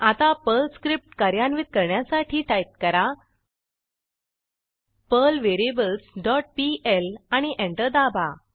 आता Perl script कार्यान्वित करण्यासाठी टाईप करा पर्ल व्हेरिएबल्स डॉट पीएल आणि एंटर दाबा